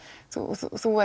þú